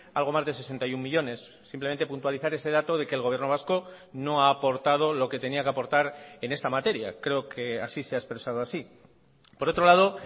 algo más de sesenta y uno millónes simplemente puntualizar ese dato de que el gobierno vasco no ha aportado lo que tenía que aportar en esta materia creo que así se ha expresado así por otro lado